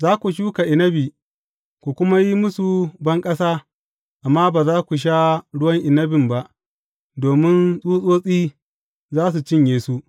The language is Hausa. Za ku shuka inabi ku kuma yi musu banƙasa, amma ba za ku sha ruwan inabin ba, domin tsutsotsi za su cinye su.